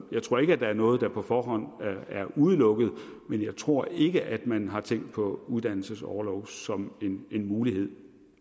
jeg tror ikke at der er noget der på forhånd er udelukket men jeg tror ikke at man har tænkt på uddannelsesorlov som en mulighed